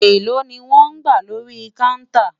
èlò ní wón gbà lórí kàùntà?